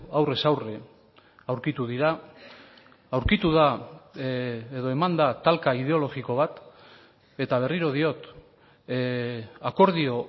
aurrez aurre aurkitu dira aurkitu da edo eman da talka ideologiko bat eta berriro diot akordio